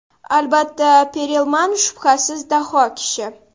Albatta, Perelman shubhasiz daho kishi.